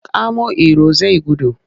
Kamo Iro zai gudu!